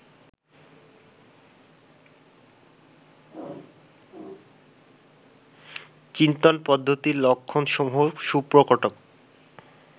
চিন্তন পদ্ধতির লক্ষণসমূহ সুপ্রকট